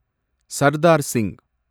Sardar Singh